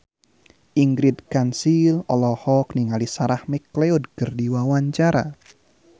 Ingrid Kansil olohok ningali Sarah McLeod keur diwawancara